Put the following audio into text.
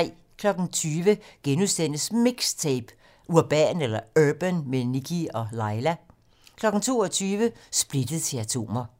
20:00: MIXTAPE - Urban med Nikkie & Laila * 22:00: Splittet til atomer